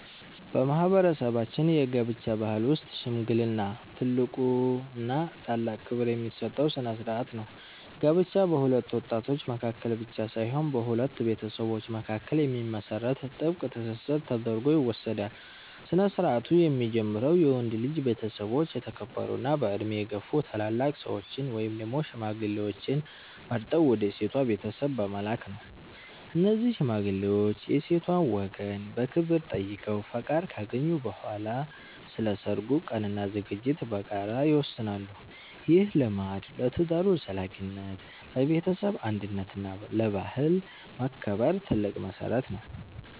በማህበረሰባችን የጋብቻ ባህል ውስጥ "ሽምግልና" ትልቁና ታላቅ ክብር የሚሰጠው ስነ-ስርዓት ነው። ጋብቻ በሁለት ወጣቶች መካከል ብቻ ሳይሆን በሁለት ቤተሰቦች መካከል የሚመሰረት ጥብቅ ትስስር ተደርጎ ይወሰዳል። ስነ-ስርዓቱ የሚጀምረው የወንድ ልጅ ቤተሰቦች የተከበሩና በዕድሜ የገፉ ታላላቅ ሰዎችን (ሽማግሌዎችን) መርጠው ወደ ሴቷ ቤተሰብ በመላክ ነው። እነዚህ ሽማግሌዎች የሴቷን ወገን በክብር ጠይቀው ፈቃድ ካገኙ በኋላ፣ ስለ ሰርጉ ቀንና ዝግጅት በጋራ ይወስናሉ። ይህ ልማድ ለትዳሩ ዘላቂነት፣ ለቤተሰብ አንድነት እና ለባህል መከበር ትልቅ መሰረት ነው።